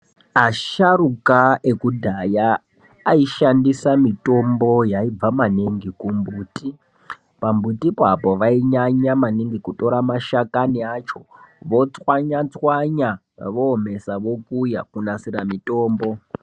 Asharuka ekudhaya aishandisa mitombo yaibva maningi kumbuti, pambuti ipapo vainyanya maningi kutora mashakani acho votswanya tswanya, voomesa vokuya kunasira mitombo.